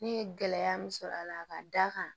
Ne ye gɛlɛya min sɔrɔ a la ka d'a kan